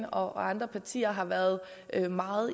og andre partier har været meget